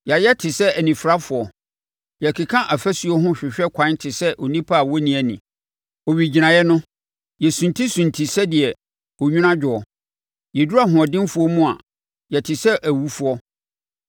Yɛayɛ te sɛ anifirafoɔ. Yɛkeka afasuo ho hwehwɛ kwan te sɛ nnipa a wɔnni ani. Owigyinaeɛ no, yɛsuntisunti sɛdeɛ onwunu adwoɔ; yɛduru ahoɔdenfoɔ mu a, yɛte sɛ awufoɔ.